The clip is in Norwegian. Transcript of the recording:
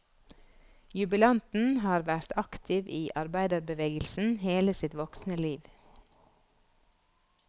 Jubilanten har vært aktiv i arbeiderbevegelsen hele sitt voksne liv.